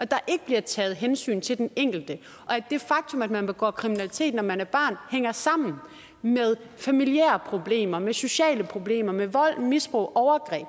der ikke bliver taget hensyn til den enkelte og at det faktum at man begår kriminalitet når man er barn hænger sammen med familiære problemer med sociale problemer med vold misbrug overgreb